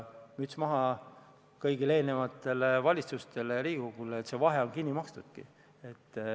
Müts maha kõigi eelmiste valitsuste ja Riigikogu koosseisude ees, et see vahe ongi kinni makstud!